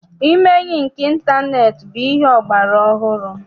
Ime enyi nke ịntaneetị bụ ihe ọgbara ọhụrụ.